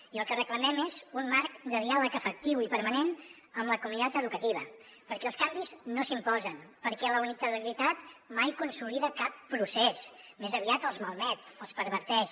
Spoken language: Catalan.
i el que reclamem és un marc de diàleg efectiu i permanent amb la comunitat educativa perquè els canvis no s’imposen perquè la unilateralitat mai consolida cap procés més aviat els malmet els perverteix